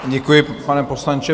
Děkuji, pane poslanče.